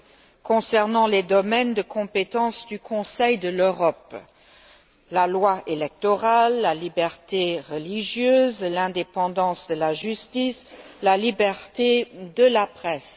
Jagland, concernant les domaines de compétence de cette institution la loi électorale, la liberté religieuse, l'indépendance de la justice, la liberté de la presse.